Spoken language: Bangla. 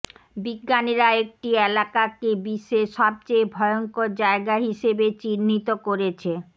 বিজ্ঞানীরা একটি এলাকাকে বিশ্বের সবচেয়ে ভয়ঙ্কর জায়গা হিসেবে চিহ্নিত করেছে